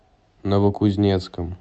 новокузнецком